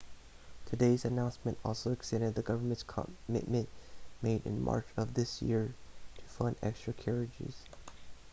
today's announcement also extended the government's commitment made in march of this year to fund extra carriages